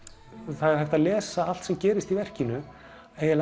það er hægt að lesa allt sem gerist í verkinu